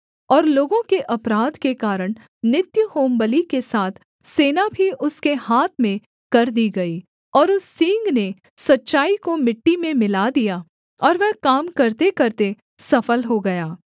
और लोगों के अपराध के कारण नित्य होमबलि के साथ सेना भी उसके हाथ में कर दी गई और उस सींग ने सच्चाई को मिट्टी में मिला दिया और वह काम करतेकरते सफल हो गया